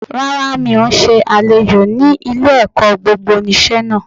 Rárá mi ò n se àlejò ni ilé-èkó gbogbonìse náà